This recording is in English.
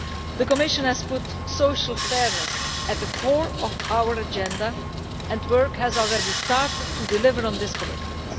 The Commission has put social fairness at the core of our agenda, and work has already started to deliver on this commitment.